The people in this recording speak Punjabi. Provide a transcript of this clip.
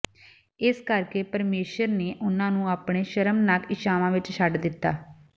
ਇਸੇ ਕਰਕੇ ਪਰਮੇਸ਼ੁਰ ਨੇ ਉਨ੍ਹਾਂ ਨੂੰ ਆਪਣੇ ਸ਼ਰਮਨਾਕ ਇੱਛਾਵਾਂ ਵਿਚ ਛੱਡ ਦਿੱਤਾ